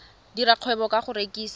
dira kgwebo ka go rekisa